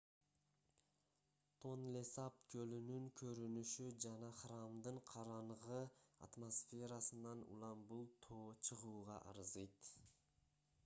тонлесап көлүнүн көрүнүшү жана храмдын караңгы атмосферасынан улам бул тоо чыгууга арзыйт